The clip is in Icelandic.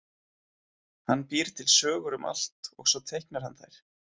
Hann býr til sögur um allt og svo teiknar hann þær.